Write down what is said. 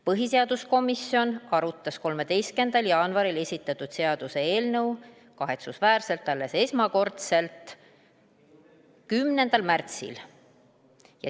Põhiseaduskomisjon arutas 13. jaanuaril esitatud seaduseelnõu esmakordselt kahetsusväärselt alles 10. märtsil.